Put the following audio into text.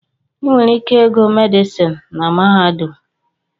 Ị nwere ike ịgụ medịsịn na mahadum